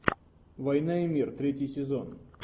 война и мир третий сезон